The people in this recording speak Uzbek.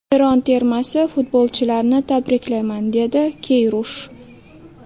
Eron termasi futbolchilarini tabriklayman”, dedi Keyrush.